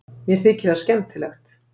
Mér þykir það skemmtilegt.